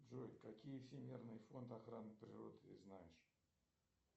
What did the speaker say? джой какие всемирный фонд охраны природы ты знаешь